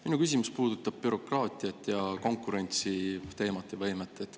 Minu küsimus puudutab bürokraatiat ning konkurentsiteemat ja -võimet.